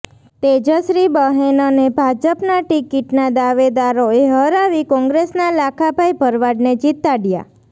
તેજશ્રી બહેનને ભાજપના ટીકીટના દાવેદારોએ હરાવી કોંગ્રેસના લાખાભાઈ ભરવાડને જીતાડ્યા